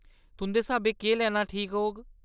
तुंदे स्हाबें केह् लैना ठीक होग ?